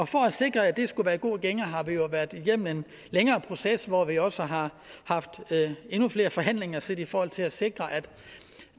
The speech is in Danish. for at sikre at det skulle være i en god gænge har vi jo været igennem en længere proces hvor vi også har haft endnu flere forhandlinger set i forhold til at sikre at